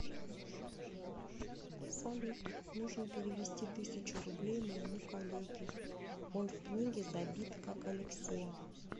салют нужно перевести тысячу рублей моему коллеге он в книге забит как алексей